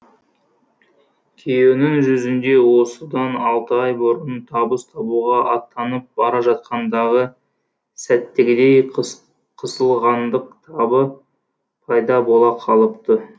күйеуінің жүзінде осыдан алты ай бұрын табыс табуға аттанып бара жатқандағы сәттегідей қысылғандық табы пайда бола қалыпты